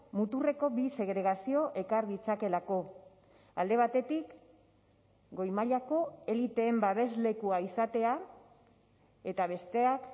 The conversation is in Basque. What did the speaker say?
muturreko bi segregazio ekar ditzakeelako alde batetik goi mailako eliteen babeslekua izatea eta besteak